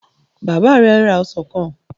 Bàbá ẹ ra ọsàn kan?